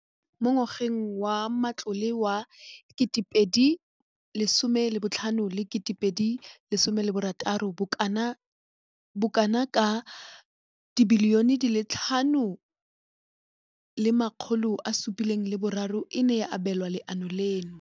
Mo ngwageng wa matlole wa 2015,16, bokanaka R5 703 bilione e ne ya abelwa lenaane leno.